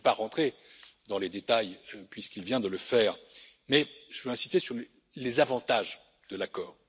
Je ne vais pas entrer dans les détails puisqu'il vient de le faire, mais je veux insister sur les avantages de l'accord.